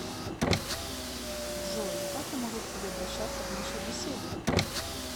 джой как я могу к тебе обращаться в нашей беседе